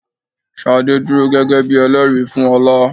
Ṣadé dúró gẹ́gẹ́ bí Ẹlẹ́rìí fún ọ̀la.